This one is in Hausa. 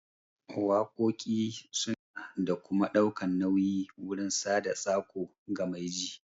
Waƙoƙi suna da ma'ana da kuma ɗaukan nauyi wurin sada tsako ga mai ji